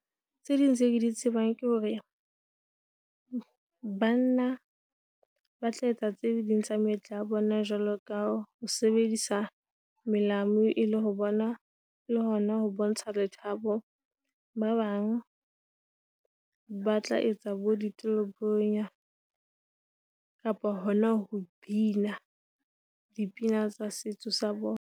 Tse ding tse ke di tsebang ke hore banna ba tla etsa tse ding tsa meetlo ya bona jwaloka ho sebedisa melao e le ho bona, le hona ha ho bontsha lethabo. Ba bang, ba tla etsa bo ditolobonya, kapa hona ho bina dipina tsa setso sa bona.